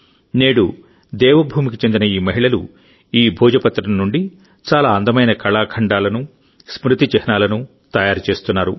నేడుదేవభూమికి చెందిన ఈ మహిళలు ఈ భోజ పత్రం నుండి చాలా అందమైన కళాఖండాలను స్మృతి చిహ్నాలను తయారు చేస్తున్నారు